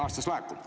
… aastas laekub?